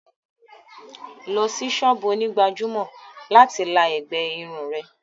Lọ sí sọ́ọ̀bù onígbàjámọ̀ láti la ẹ̀gbẹ́ irun rẹ̀!